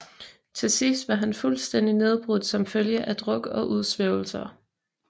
Til sidst var han fuldstændig nedbrudt som følge af druk og udsvævelser